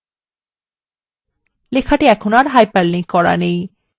লেখাটি এখন আর হাইপারলিঙ্ক করা নেই